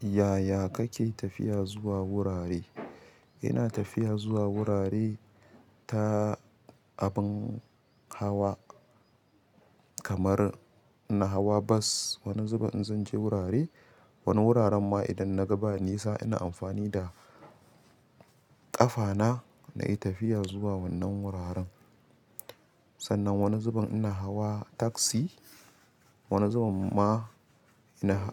Ya ya kake tafiya zuwa wurare? Ina tafiya zuwa wurare ta abin hawa kamar ina hawa bus wani zubin in zanje wurare. Wani wuraren ma idan naga ba nisa ina amfani da ƙafana na yi tafiya zuwa wannan wuraren. Sannan wani zubin ina hawa taxi, wani zubin ma ina,